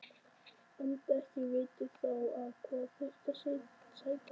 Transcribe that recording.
Enda ekki vitað þá á hvað þyrfti að sættast.